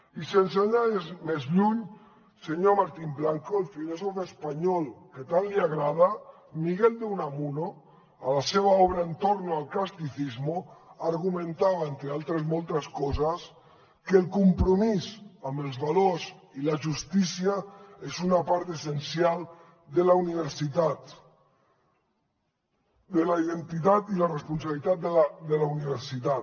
i sense anar més lluny senyor martín blanco el filòsof espanyol que tant li agrada miguel de unamuno a la seva obra en torno al altres moltes coses que el compromís amb els valors i la justícia és una part essencial de la universitat de la identitat i la responsabilitat de la universitat